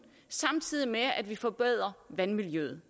samtidig med at vi forbedrer vandmiljøet